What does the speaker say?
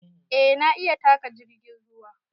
A na iya taƙa jirgin ruwa